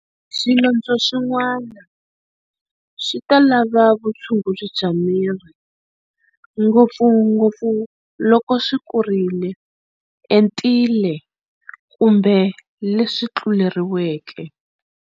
Swilondzo swin'wana swi ta lava vutshunguri bya mirhi, ngopfungopfu loko swi kurile, entile kumbe leswi tluleriweke.